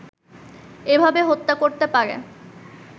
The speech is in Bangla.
এভাবে হত্যা করতে পারে